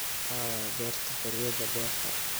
aaway beerta xoriyada beerta